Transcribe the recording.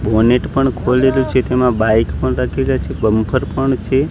Bonnet પણ ખોલેલુ છે તેમા બાઈક પણ રાખેલા છે બમ્પર છે.